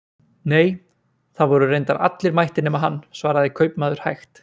Nei, það voru reyndar allir mættir nema hann, svaraði kaupmaður hægt.